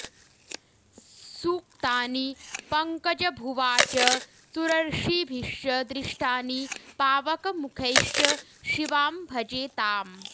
सूक्तानि पङ्कजभुवा च सुरर्षिभिश्च दृष्टानि पावकमुखैश्च शिवां भजे ताम्